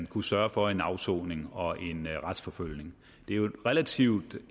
kunne sørge for en afsoning og en retsforfølgning det er jo relativt